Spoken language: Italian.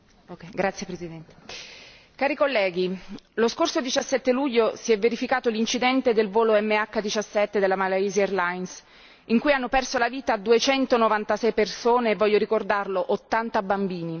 Signor Presidente, onorevoli colleghi, lo scorso 17 luglio si è verificato l'incidente del volo MH17 della Malaysia Airlines in cui hanno perso la vita duecento novantasei persone e, voglio ricordarlo, ottanta bambini.